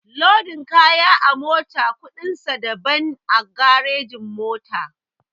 Lodin kaya a mota kuɗin sa daban a garejin-mota.